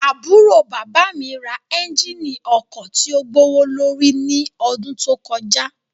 Aburo baba mi ra ẹnjínì ọkọ tio gbowolori ni ọdun to kọja